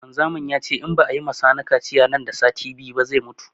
Wanzamin yace in ba a yima sani kaciya nan da sati biyu ba zai mutu